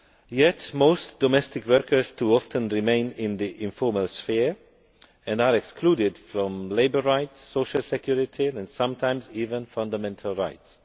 Yet most domestic workers too often remain in the informal sphere and are excluded from labour rights, social security and sometimes even fundamental rights.